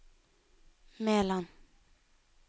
Meland